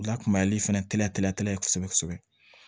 O lakunyali fɛnɛ teliya kosɛbɛ kosɛbɛ